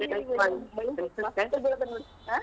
.